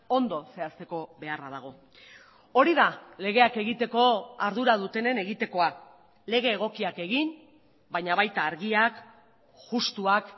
ondo zehazteko beharra dago hori da legeak egiteko ardura dutenen egitekoa lege egokiak egin baina baita argiak justuak